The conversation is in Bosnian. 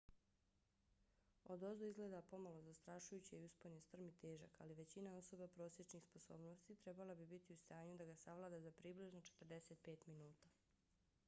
odozdo izgleda pomalo zastrašujuće i uspon je strm i težak ali većina osoba prosječnih sposobnosti trebala bi biti u stanju da ga savlada za približno 45 minuta